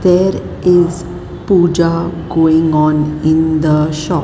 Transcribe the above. there is pooja going on in the shop.